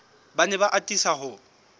ba ne ba atisa ho